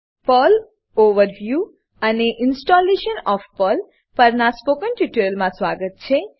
Perl overview Perl overview અને installation of Perl પર્લનું સંસ્થાપન પરનાં સ્પોકન ટ્યુટોરીયલમાં સ્વાગત છે